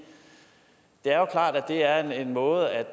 er jo klart at det er en måde at